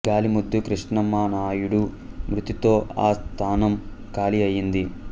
గాలి ముద్దు కృష్ణమనాయుడు మృతితో ఆ స్థానం ఖాళీ అయ్యింది